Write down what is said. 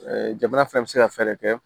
jamana fɛnɛ bɛ se ka fɛɛrɛ kɛ